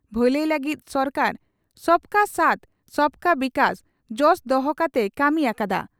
ᱵᱷᱟᱹᱞᱟᱹᱭ ᱞᱟᱹᱜᱤᱫ ᱥᱚᱨᱠᱟᱨ 'ᱥᱚᱵᱠᱟ ᱥᱟᱛᱷ ᱥᱚᱵᱠᱟ ᱵᱤᱠᱟᱥ' ᱡᱚᱥ ᱫᱚᱦᱚ ᱠᱟᱛᱮᱭ ᱠᱟᱹᱢᱤ ᱟᱠᱟᱫᱼᱟ ᱾